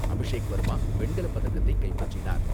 அபிஷேக் வர்மா வெண்கலப்பதக்கத்தை கைப்பற்றினார்.